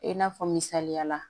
I n'a fɔ misaliya la